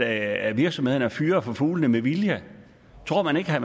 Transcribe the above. at virksomhederne fyrer for fuglene med vilje tror man ikke at